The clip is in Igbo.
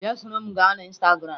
Bia soro m na instagram!